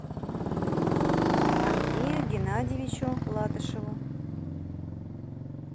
андрею геннадьевичу латышеву